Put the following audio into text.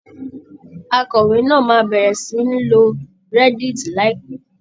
Akọ̀wé náà máa bẹ̀rẹ̀ sí ní lo reddit láìpẹ́.